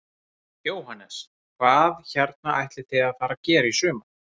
Jóhannes: Hvað hérna ætlið þið að fara að gera í sumar?